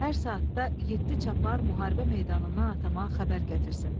Hər saatda yeddi çapar müharibə meydanından atama xəbər gətirsin.